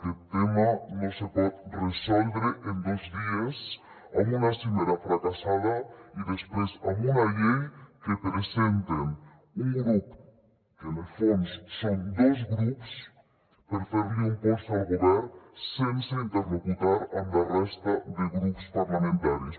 aquest tema no se pot resoldre en dos dies amb una cimera fracassada i després amb una llei que presenta un grup que en el fons són dos grups per fer li un pols al govern sense interlocutar amb la resta de grups parlamentaris